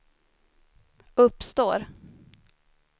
uppstår